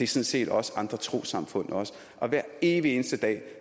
set også andre trossamfund hver evig eneste dag